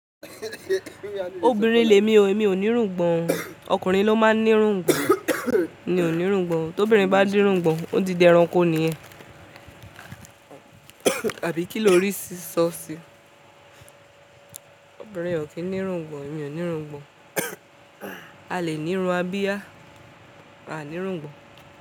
Obìnrin lè mi o, èmi ò ní irungbọ̀n. Okùnrin ló máa ń ní irungbọ̀n. Mi ò ní irungbọ̀n. Tóbìnrin bá ní irungbọ̀n, ó di dé ẹranko nìyẹn. Àbí kí lórí ṣí ṣọ́ sí? Obìnrin o kì í ní irungbọ̀n, èmi ò ní irungbọ̀n. A lè ní irun abiya, a ní irungbọ̀n.